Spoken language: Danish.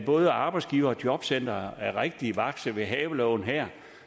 både arbejdsgivere og jobcentre er rigtig vakse ved havelågen her